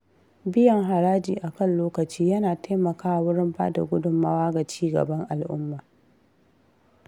Biyan haraji akan lokaci ya na taimakawa wurin bada gudummawa ga ci gaban al’umma.